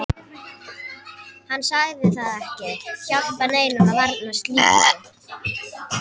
Hann sagði það ekki hjálpa neinum að varna slíku.